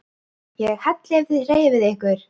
ÉG HELLI EF ÞIÐ HREYFIÐ YKKUR!